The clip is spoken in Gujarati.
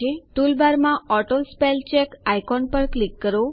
ટૂલબારમાં ઓટોસ્પેલચેક આઇકોન પર ક્લિક કરો